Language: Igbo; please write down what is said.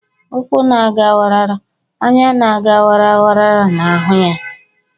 Ụkwụ́ na-aga wara wara; anya na-aga wara wara na-ahụ ya.